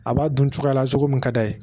A b'a dun cogoya la cogo min ka d'a ye